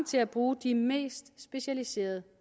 til at bruge de mest specialiserede